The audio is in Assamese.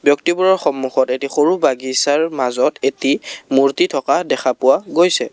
ব্যক্তিবোৰৰ সন্মুখত এটি সৰু বাগিচাৰ মাজত এটি মূৰ্ত্তি থকা দেখা পোৱা গৈছে।